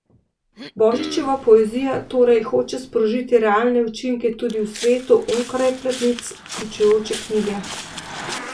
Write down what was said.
Božičeva poezija torej hoče sprožiti realne učinke tudi v svetu onkraj platnic pričujoče knjige.